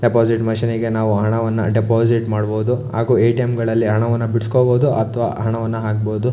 Deposit ಮಿಷನಿಗೆ ನಾವು ಹಣವನ್ನ ಡೆಪಾಸಿಟ್ ಮಾಡಬಹುದು ಹಾಗು ಎ_ಟಿ_ಎಮ್ ಗಳಲ್ಲಿ ಹಣವನ್ನು ಬಿಡಸ್ಕೊಬಹುದು ಅಥವಾ ಹಣವನ್ನ ಹಾಕಬಹುದು.